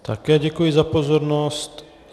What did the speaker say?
Také děkuji za pozornost.